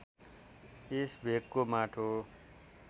यस भेगको माटो